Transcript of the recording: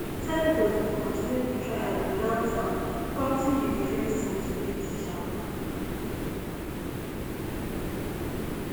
senators bin continue di trial witout am prompting di defence team to leave di chamber